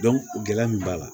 gɛlɛya min b'a la